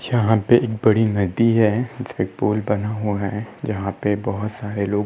यहाँ पे एक बड़ी नदी है। इसके पुल बना हुआ है जहाँ पे बहोत सारे लोग --